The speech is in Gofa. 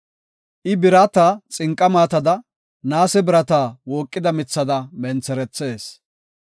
I birata xinqa maatada, naase birata wooqida mithada mentherethees.